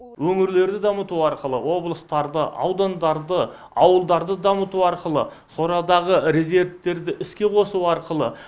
өңірлерді дамыту арқылы облыстарды аудандарды ауылдарды дамыту арқылы сорадағы резервтерді іске қосу арқылы